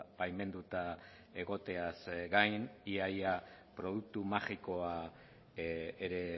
baimenduta egoteaz gain ia ia produktu magikoa ere